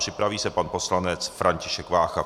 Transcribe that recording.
Připraví se pan poslanec František Vácha.